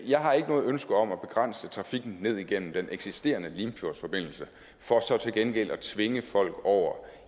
jeg har ikke noget ønske om at begrænse trafikken ned igennem den eksisterende limfjordsforbindelse for så til gengæld at tvinge folk over